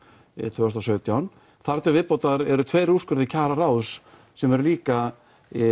tvö þúsund og sautján þar til viðbótar eru tveir kjararáðs sem eru líka